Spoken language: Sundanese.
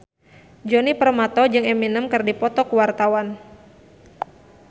Djoni Permato jeung Eminem keur dipoto ku wartawan